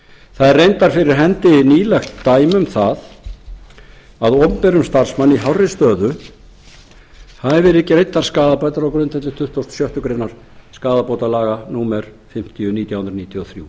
það er reyndar fyrir hendi nýlegt dæmi um það að opinberum starfsmanni í hárri stöðu hafi verið greiddar skaðabætur á grundvelli tuttugasta og sjöttu greinar skaðabótalaga númer fimmtíu nítján hundruð níutíu og þrjú